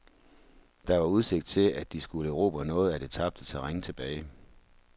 Der var udsigt til, at de skulle erobre noget af det tabte terræn tilbage.